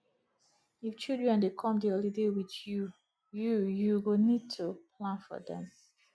if children dey come di holiday with you you you go need to plan for dem